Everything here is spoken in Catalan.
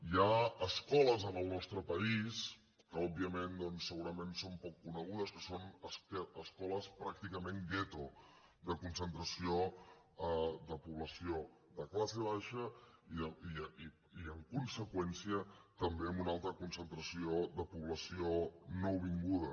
hi ha escoles en el nostre país que òbviament doncs segurament són poc conegudes que són escoles pràcticament gueto de concentració de població de classe baixa i en conseqüència també amb una alta concentració de població nouvinguda